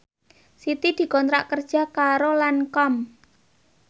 Siti dikontrak kerja karo Lancome